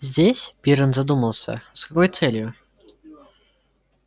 здесь пиренн задумался с какой целью